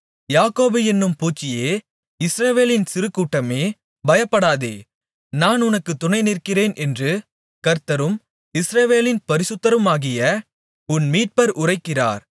யாக்கோபு என்னும் பூச்சியே இஸ்ரவேலின் சிறுகூட்டமே பயப்படாதே நான் உனக்குத் துணைநிற்கிறேன் என்று கர்த்தரும் இஸ்ரவேலின் பரிசுத்தருமாகிய உன் மீட்பர் உரைக்கிறார்